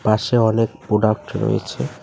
পাশে অনেক প্রোডাক্ট রয়েছে।